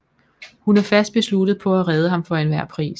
Hun er fast besluttet på at redde ham for enhver pris